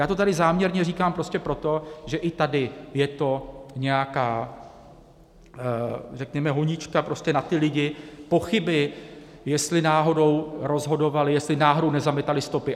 Já to tady záměrně říkám prostě proto, že i tady je to nějaká řekněme honička prostě na ty lidi, pochyby, jestli náhodou rozhodovali, jestli náhodou nezametali stopy.